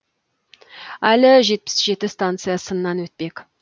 әлі жетпіс жеті станция сыннан өтпек